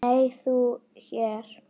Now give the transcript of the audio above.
Nei, þú hér?